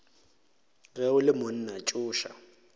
ge o le monna tsoša